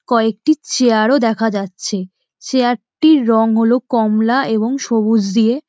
কয়েকটি চেয়ার ও দেখা যাচ্ছে। চেয়ার টির রঙ হলো কমলা এবং সবুজ দিয়ে--